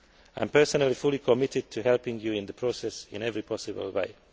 I am personally fully committed to helping you in the process in every possible